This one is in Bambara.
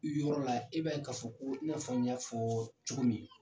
I yɔrɔ la e b'a ye ka fɔ i n'a fɔ n y'a fɔ cogo min.